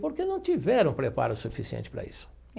Porque não tiveram preparo suficiente para isso.